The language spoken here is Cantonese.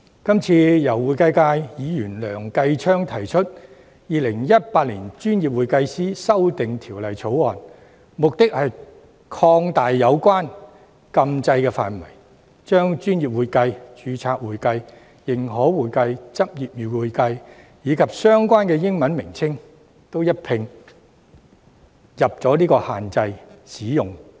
這次由會計界梁繼昌議員提出的《條例草案》，目的是擴大有關禁制的範圍，將"專業會計"、"註冊會計"、"認可會計"、"執業會計"，以及相關的英文稱謂一併納入限制範圍。